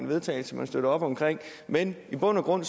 vedtagelse man støtter op om men i bund og grund